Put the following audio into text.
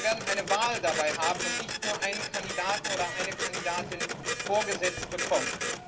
Wir werden eine Wahl dabei haben und nicht nur einen Kandidaten oder eine Kandidatin vorgesetzt bekommen.